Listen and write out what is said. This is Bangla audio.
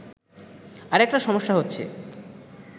আরেকটা সমস্যা হচ্ছে